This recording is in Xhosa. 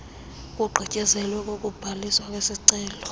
kugqityezelwe ukubhaliswa kwesicelo